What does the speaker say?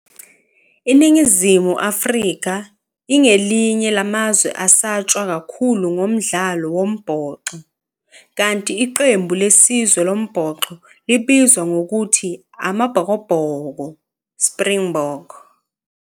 Iningizimu Afrika, ingelinye lamazwe asatshwa kakhulu ngomdlalo wombhoxo, Kanti iqembu lesizwe lombhoxo libizwa ngokuthi amaBhokobhoko, Springbok,